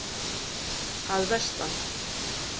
Að vestan.